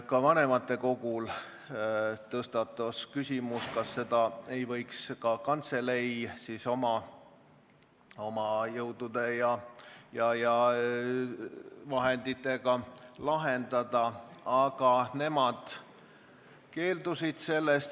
Ka vanematekogu koosolekul tõstatus küsimus, kas probleemi võiks kantselei oma jõudude ja vahenditega lahendada, aga nad keeldusid sellest.